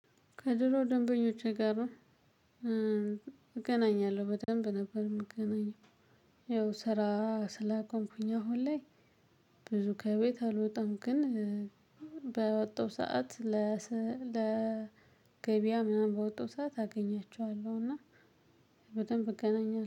ከድሮ ደንበኞቼ ጋር ነው እገናኛለሁ በደንብ ነበር የምገናኘው። ይኸው ስራ ስላቆምኩኝ አሁን ላይ ብዙ ከቤት አልወጣም። ግን ባወጣው ሰዓት ለገበያ ምናምን በወጣው ሰዓት አገኛቸዋለሁ። እና በደንብ እገናኛለሁ